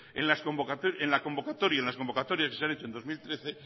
en las convocatorias que se han hecho en dos mil trece